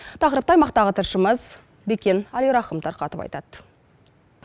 тақырыпты аймақтағы тілшіміз бекен әлирахым тарқатып айтады